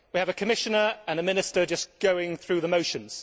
We have a Commissioner and a Minister just going through the motions.